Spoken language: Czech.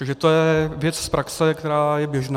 Takže to je věc z praxe, která je běžná.